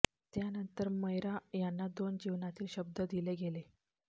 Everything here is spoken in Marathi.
त्यानंतर मयरा यांना दोन जीवनातील शब्द दिले गेले